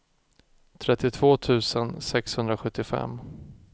trettiotvå tusen sexhundrasjuttiofem